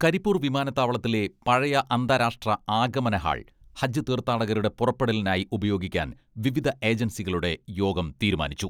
കരിപ്പൂർ വിമാനത്താവളത്തിലെ പഴയ അന്താരാഷ്ട്ര ആഗമന ഹാൾ ഹജ്ജ് തീർഥാടകരുടെ പുറപ്പെടലിനായി ഉപയോഗിക്കാൻ വിവിധ ഏജൻസികളുടെ യോഗം തീരുമാനിച്ചു.